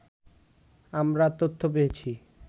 আমরা তথ্য পেয়েছি